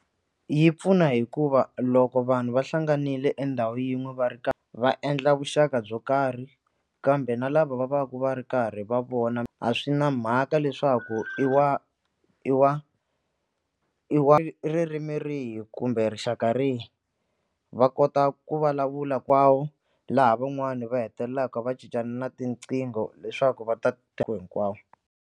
Yi pfuna hikuva loko vanhu va hlanganile endhawu yin'we va ri karhi va endla vuxaka byo karhi kambe na lava va va ka va ri karhi va vona a swi na mhaka leswaku i wa i wa i wa ririmi rihi kumbe rixaka rihi va kota ku vulavula laha van'wani va hetelelaka va cincana na tinqingho leswaku va ta .